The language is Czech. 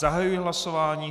Zahajuji hlasování.